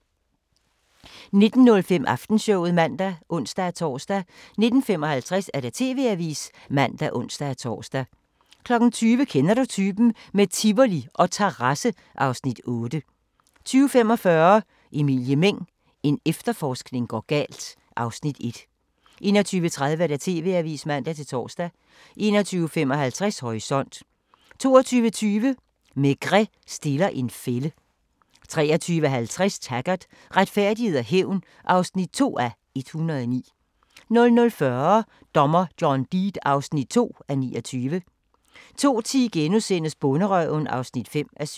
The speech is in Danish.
19:05: Aftenshowet (man og ons-tor) 19:55: TV-avisen (man og ons-tor) 20:00: Kender du typen? - med Tivoli og terrasse (Afs. 8) 20:45: Emilie Meng – en efterforskning går galt (Afs. 1) 21:30: TV-avisen (man-tor) 21:55: Horisont 22:20: Maigret stiller en fælde 23:50: Taggart: Retfærdighed og hævn (2:109) 00:40: Dommer John Deed (2:29) 02:10: Bonderøven (5:7)*